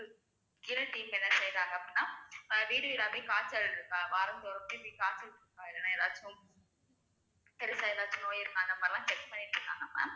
வெளி team ல என்ன செய்றாங்க அப்படின்னா அஹ் வீடு வீடா போய் காய்ச்சல் இருக்கா இல்லைன்னா ஏதாச்சும் பெருசா ஏதாச்சும் நோய் இருக்கா அந்த மாதிரிலாம் check பண்ணிட்டு இருக்காங்க ma'am